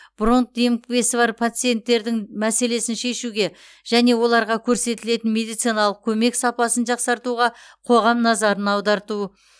бронх демікпесі бар пациенттердің мәселесін шешуге және оларға көрсетілетін медициналық көмек сапасын жақсартуға қоғам назарын аударту